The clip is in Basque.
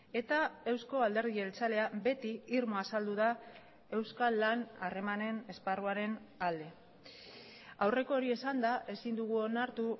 eta eusko alderdi jeltzalea beti irmo azaldu da euskal lan harremanen esparruaren alde aurreko hori esanda ezin dugu onartu